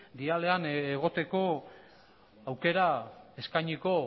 dialean egoteko aukera eskainiko